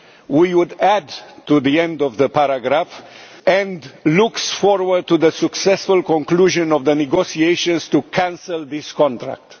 We would add to the end of the paragraph and looks forward to the successful conclusion of the negotiations to cancel this contract'.